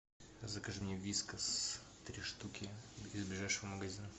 закажи мне вискас три штуки из ближайшего магазина